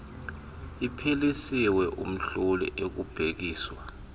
iphelisiwe umhloli ekubhekiswa